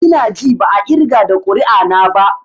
I na ji ba a irga da ƙuri'a na ba.